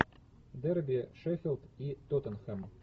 дерби шеффилд и тоттенхэм